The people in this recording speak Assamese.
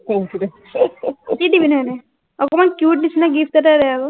কি দিবিনো এনেই, অকণমান cute নিচিনা gift এটা দে আকৌ